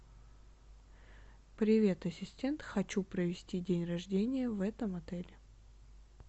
привет ассистент хочу провести день рождения в этом отеле